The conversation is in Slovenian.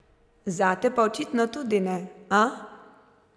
Zate pa očitno tudi ne, a?